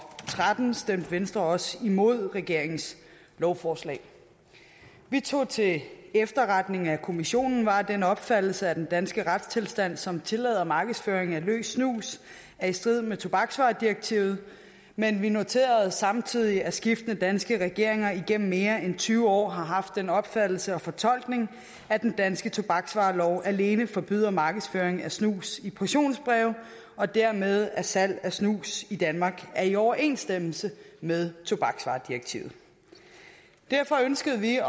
tretten stemte venstre også imod regeringens lovforslag vi tog til efterretning at kommissionen var af den opfattelse at den danske retstilstand som tillader markedsføring af løs snus er i strid med tobaksvaredirektivet men vi noterede samtidig at skiftende danske regeringer igennem mere end tyve år har haft den opfattelse og fortolkning at den danske tobaksvarelov alene forbyder markedsføring af snus i portionsbreve og dermed at salg af snus i danmark er i overensstemmelse med tobaksvaredirektivet derfor ønskede vi